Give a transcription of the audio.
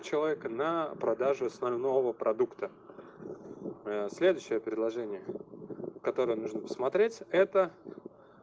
человека на продажу основного продукта следующее предложение которое нужно посмотреть это